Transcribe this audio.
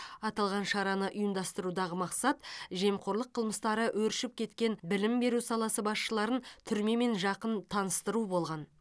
аталған шараны ұйымдастырудағы мақсат жемқорлық қылмыстары өршіп кеткен білім беру саласы басшыларын түрмемен жақын таныстыру болған